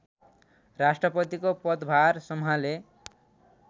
राष्ट्रपतिको पदभार सम्हाले